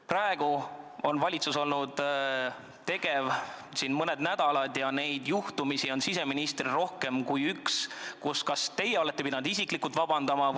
Praegu on valitsus tegev olnud mõned nädalad ja siseministriga on seotud rohkem kui üks juhtum, mille eest teie olete pidanud isiklikult vabandama.